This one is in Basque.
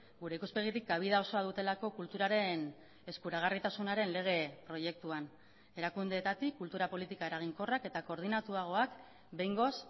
gure ikuspegitik kabida osoa dutelako kulturaren eskuragarritasunaren lege proiektuan erakundeetatik kultura politika eraginkorrak eta koordinatuagoak behingoz